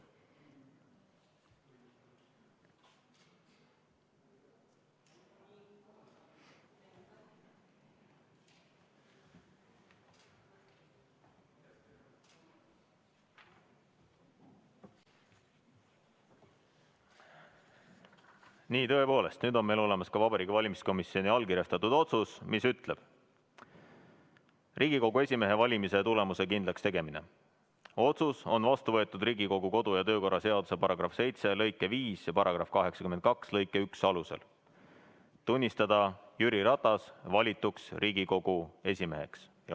Nii, nüüd on meil olemas ka Vabariigi Valimiskomisjoni allkirjastatud otsus "Riigikogu esimehe valimise tulemuste kindlakstegemine", mis ütleb, et Riigikogu kodu- ja töökorra seaduse § 7 lõike 5 ja § 82 lõike 1 alusel Vabariigi Valimiskomisjon otsustab tunnistada Jüri Ratase valituks Riigikogu esimeheks.